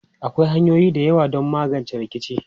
Akwai hanyoyi da yawa don magance rikici.